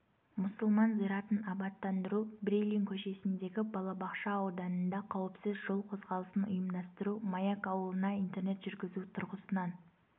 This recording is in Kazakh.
мұсылман зиратын абаттандыру брилин көшесіндегі балабақша ауданында қауіпсіз жол қозғалысын ұйымдастыру маяк ауылына интернет жүргізу тұрғысынан